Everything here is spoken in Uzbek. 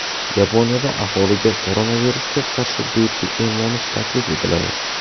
Yaponiyada aholiga koronavirusga qarshi bepul emlanish taklif etiladi.